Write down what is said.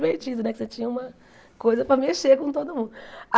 Porque você tinha uma coisa para mexer com todo mundo. Ah